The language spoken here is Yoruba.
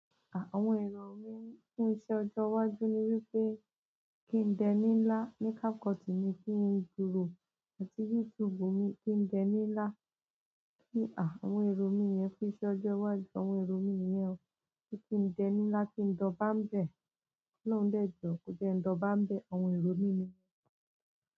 À, àwọn èrò mí fún iṣẹ́ ọjọ́ iwájú ni wípé kí ń dẹ́ni ńlá ní kákọ̀tù mi kí n ju rò àti YouTube mi kí ń dẹ́ni ńlá. Kí à, àwọn èrò mi yẹn fún iṣẹ́ ọjọ́ iwájú, àwọn èrò mi nìyẹn o. Kí ń dẹ́ni ńlá, kí n dọbá ń bẹ̀ lóun dẹ́jo, ó jẹ́ n dọbá ń bẹ̀, àwọn èrò mi ni yen.